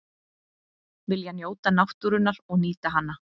Vilja njóta náttúrunnar og nýta hana